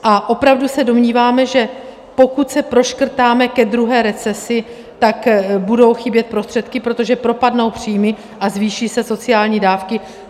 A opravdu se domníváme, že pokud se proškrtáme ke druhé recesi, tak budou chybět prostředky, protože propadnou příjmy a zvýší se sociální dávky?